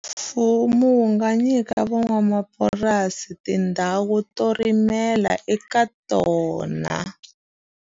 Mfumo wu nga nyika van'wamapurasi tindhawu to rimela eka tona.